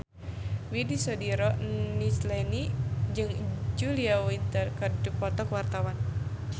Widy Soediro Nichlany jeung Julia Winter keur dipoto ku wartawan